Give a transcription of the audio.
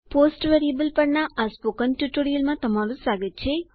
post variable પરના આ મૌખિક ટ્યુટોરીયલમાં સ્વાગત છે